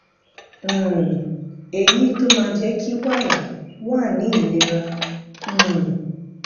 um èyí tó máa jé kí wàrà wà ní ilérà um